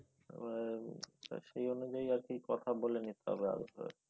আহ সেই অনুযায়ী আর কি কথা বলে নিতে হবে আগের থেকে